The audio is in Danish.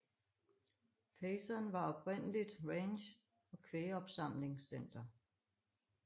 Payson var oprindeligt ranch og kvægopsamlingscenter